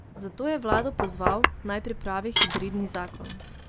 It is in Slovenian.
Zato je vlado pozval, naj pripravi hibridni zakon.